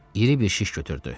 İri bir şiş götürdü.